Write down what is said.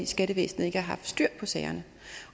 skattevæsenet ikke har haft styr på sagerne